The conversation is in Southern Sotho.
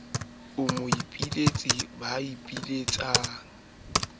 a moipiletsi a boipilets la